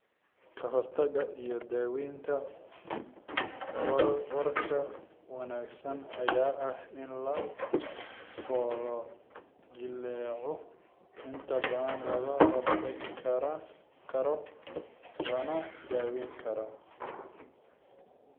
Kahortagga iyo daawaynta warka wanaagsan ayaa ah in lafo-jileecu inta badan laga hortagi karo lana daweyn karo.